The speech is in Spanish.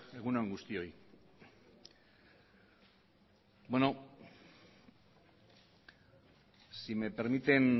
egun on guztioi bueno si me permiten